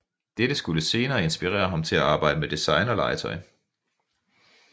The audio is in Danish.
Dette skulle senere inspirere ham til at arbejde med designerlegetøj